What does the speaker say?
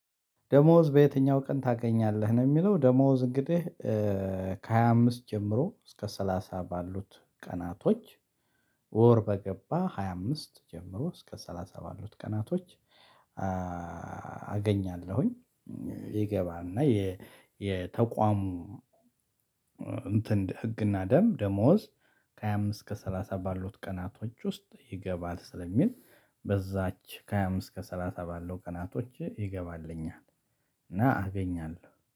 ደሞዝ በየትኛው ቀን ታገኛለህ? ነው የሚለው ደሞዝ እንግዲህ ከሃያ አምስት ጀምሮ እስከ ሰላሳ ባሉት ቀናቶች ወር በገባ ሃያ አምስት ጀምሮ እስከ ሰላሳ ባሉት ቀናቶች አገኛለሁኝ ይገባና የተቋሙ እንትን ህግና ደምብ ደሞዝ ከሃያ አምስት እስከ ሰላሳ ባሉት ቀናቶች ውስጥ ይገባል ስለሚል በዛች ከሃያ አምስት ከሰላሳ ባለው ቀናቶች ይገባልኛል እና አገኛለሁ